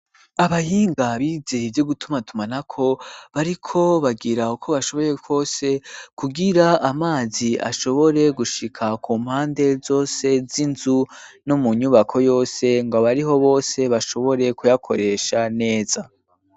Abahinga bizeye ivyo gutuma tuma na ko, bariko bagira uko bashoboye kose kugira amazi ashobore gushika ku mpande zose, z'inzu ,no mu nyubako yose ngo abariho bose bashobore kuyakoresha neza.